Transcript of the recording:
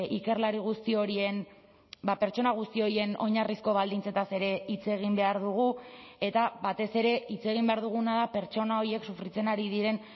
ikerlari guzti horien pertsona guzti horien oinarrizko baldintzetaz ere hitz egin behar dugu eta batez ere hitz egin behar duguna da pertsona horiek sufritzen ari diren